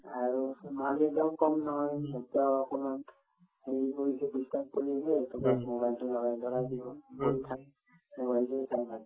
আৰুতো মাক-দেউতাকো কম নহয় batches অকমান হেৰি কৰিছে disturb কৰি আছে tobas mobile তো দিব বহি থাকে